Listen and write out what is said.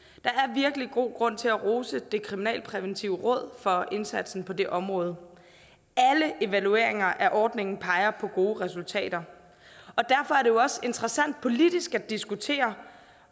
virkelig god grund til at rose det kriminalpræventive råd for indsatsen på det område alle evalueringer af ordningen peger på at gode resultater og derfor er det jo også interessant politisk at diskutere